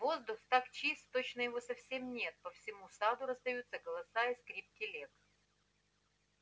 воздух так чист точно его совсем нет по всему саду раздаются голоса и скрип телег